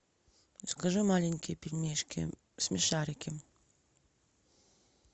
закажи маленькие пельмешки смешарики